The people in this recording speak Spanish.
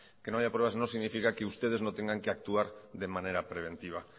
que no haya pruebas no significa que ustedes no tengan que actuar de manera preventiva